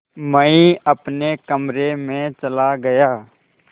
मैं अपने कमरे में चला गया